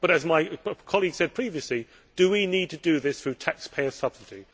But, as my colleague said previously, do we need to do this through taxpayer subsidy?